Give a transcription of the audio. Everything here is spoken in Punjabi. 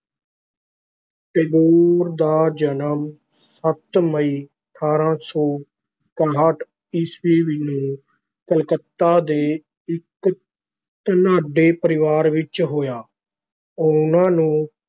ਟੈਗੋਰ ਦਾ ਜਨਮ ਸੱਤ ਮਈ ਅਠਾਰਾਂ ਸੌ ਇਕਾਹਠ ਈਸਵੀ ਨੂੰ ਕਲਕੱਤਾ ਦੇ ਇਕ ਧਨਾਢੇ ਪਰਿਵਾਰ ਵਿਚ ਹੋਇਆ, ਉਹਨਾਂ ਨੂੰ